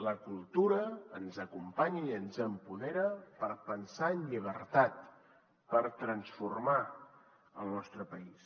la cultura ens acompanya i ens empodera per pensar en llibertat per transformar el nostre país